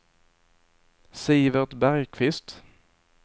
Sivert Bergkvist